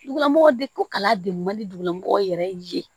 Dugumɔgɔ de ko kala degu man di dugulamɔgɔw yɛrɛ ye